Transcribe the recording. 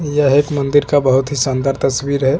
ये आठ नंबर का बहुत ही शानदार तस्वीर है।